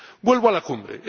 Vuelvo a la Cumbre.